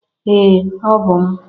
Ee! Ọ bụ m.